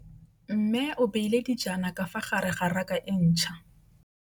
Mmê o beile dijana ka fa gare ga raka e ntšha.